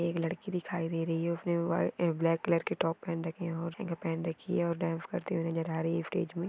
एक लड़की दिखाई दे रही है उसने व्हा ए ब्लॅक कलर के टॉप पहन रखे है पहन रखी है और डान्स करते हुए नजर आ रही है स्टेज मे।